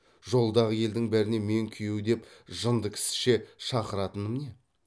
жолдағы елдің бәріне мен күйеу деп жынды кісіше шақыратыным не